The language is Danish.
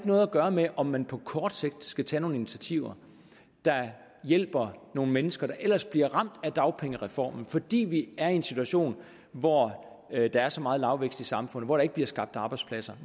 noget at gøre med om man på kort sigt skal tage nogle initiativer der hjælper nogle mennesker der ellers bliver ramt af dagpengereformen fordi vi er i en situation hvor der er så meget lavvækst i samfundet hvor der ikke bliver skabt arbejdspladser